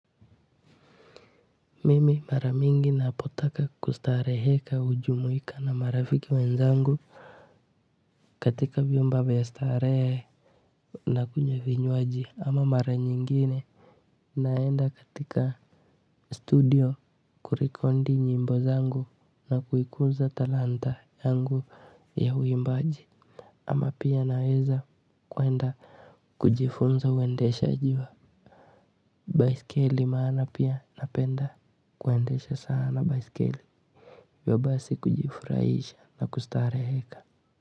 Mimi maramingi napotaka kustareheka hujumuika na marafiki wenzangu katika vyumba vya starehe na kunywa vinywaji ama mara nyingine naenda katika studio kurekodi nyimbo zangu na kuikunza talanta yangu ya huimbaji ama pia naweza kuenda kujifunza uendeshaji wa baiskeli maana pia napenda kuendesha sana baiskeli hivyo basi kujifurahisha na kustareheka.